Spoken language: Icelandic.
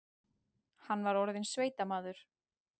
Hann var orðinn sveitamaður.